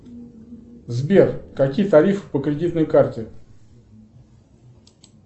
сбер какие тарифы по кредитной карте